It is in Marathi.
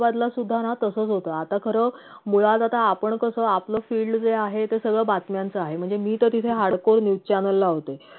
औरंगाबादला सुद्धाना तसच होत आता खर मुळात आता आपण कस आपल ज field जे आहे ते सगळं बातम्यांचं आहे म्हणजे मी तर तिथे hard core news channel ला होते